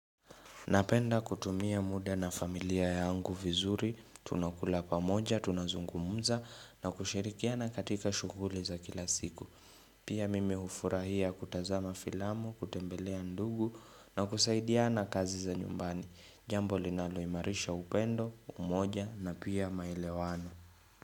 Napenda kutumia muda na familia yangu vizuri, tunakula pamoja, tunazungumuza na kushirikiana katika shughuli za kila siku. Pia mimi hufurahia kutazama filamu, kutembelea ndugu na kusaidia na kazi za nyumbani. Jambo linaloimarisha upendo, umoja na pia maelewano.